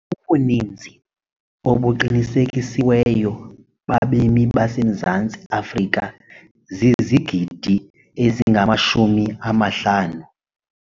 Ubuninzi obuqinisekisiweyo babemi baseMzantsi Afrika zizigidi ezingamashumi amahlanu.